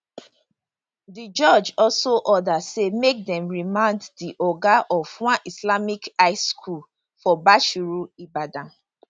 di judge also order say make dem remand di oga of one islamic high school for bashorun ibadan